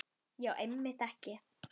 Já, einmitt ekki.